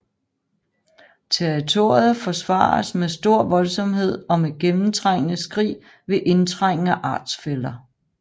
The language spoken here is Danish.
Territoriet forsvares med stor voldsomhed og med gennemtrængende skrig ved indtrængen af artsfæller